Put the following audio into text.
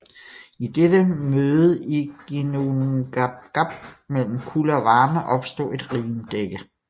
I dette møde i Ginnungagap mellem kulde og varme opstod et rimdække